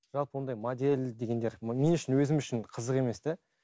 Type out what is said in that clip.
жалпы ондай модель дегендер мен үшін өзім үшін қызық емес те